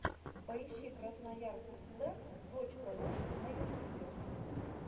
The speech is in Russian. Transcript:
поищи красноярск лэнд точка ру на ютюбе